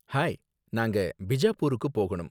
Hi! நாங்க பிஜாப்பூருக்கு போகனும்.